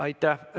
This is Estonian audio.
Aitäh!